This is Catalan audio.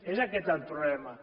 és aquest el problema